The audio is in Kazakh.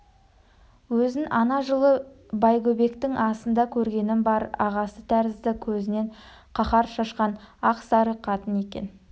өзін ана жылы байгөбектің асында көргенім бар ағасы тәрізді көзінен қаһар шашқан ақ сары қатын екен